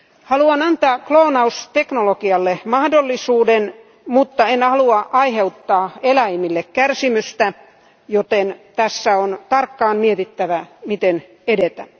Haluan antaa kloonausteknologialle mahdollisuuden, mutta en halua aiheuttaa eläimille kärsimystä, joten tässä on tarkkaan mietittävä, miten edetä.